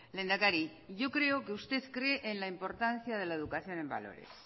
lehendakari yo creo que usted cree en la importancia de la educación en valores